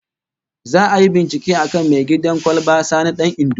Za'a yi bincike akan mai kid'an kwalba Sani Dan Indo